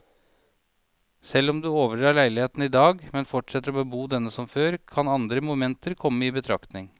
Selv om du overdrar leiligheten i dag, men fortsetter å bebo denne som før, kan andre momenter komme i betraktning.